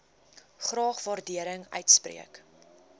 graag waardering uitspreek